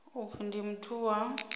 u pfi ndi muthu wa